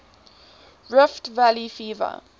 rift valley fever